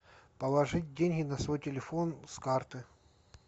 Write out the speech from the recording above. положить деньги на свой телефон с карты